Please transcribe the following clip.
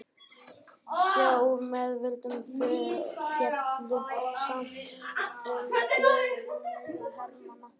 hjá miðveldunum féllu samtals um fjórir milljónir hermanna